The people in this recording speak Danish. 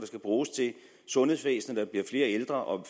skal bruges til sundhedsvæsenet bliver flere ældre og